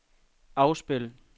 afspil